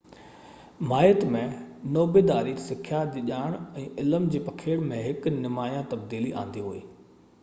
ماهيت ۾ نوبيداري سکيا جي ڄاڻ ۽ علم جي پکيڙ ۾ هڪ نمايان تبديلي آندي هئي